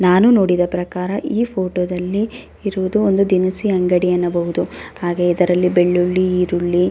ನಾನು ನೋಡಿದ ಪ್ರಕಾರ ಈ ಫೋಟೋ ದಲ್ಲಿ ಇರುವುದು ಒಂದು ದಿನಸಿ ಅಂಗಡಿ ಅನ್ನಬಹುದು. ಹಾಗೆ ಇದರಲ್ಲಿ ಬೆಳ್ಳುಳ್ಳಿ ಈರುಳ್ಳಿ --